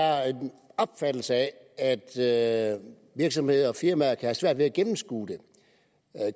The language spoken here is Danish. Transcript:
er en opfattelse af at virksomheder og firmaer kan have svært ved at gennemskue det